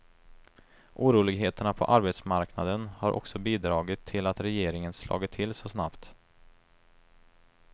Oroligheterna på arbetsmarknaden har också bidragit till att regeringen slagit till så snabbt.